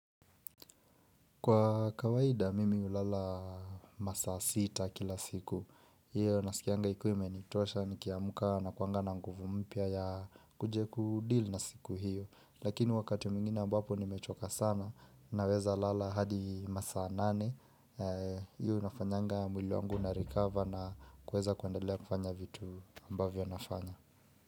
Kwa kawaida mimi hulala masaa sita kila siku. Iyo nasikianga ikiwa imenitosha nikiamuka nakuanga na nguvu mpya ya kuja kudeal na siku hiyo. Lakini wakati mwingine ambapo nimechoka sana naweza lala hadi masaa nane. Iyo inafanyanga mwili wangu inarecover na kuweza kuendelea kufanya vitu ambavyo nafanya.